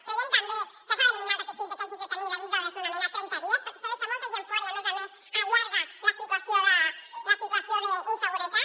creiem també que s’ha d’eliminar el requisit de que hagis de tenir l’avís de desnonament a trenta dies perquè això deixa molta gent fora i a més a més allarga la situació d’inseguretat